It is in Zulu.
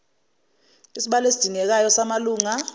isibalo esidingekayo samalunga